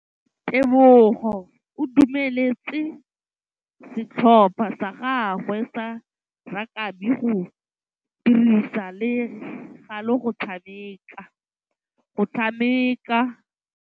Tebogô o dumeletse setlhopha sa gagwe sa rakabi go dirisa le galê go tshameka.